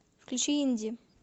включи инди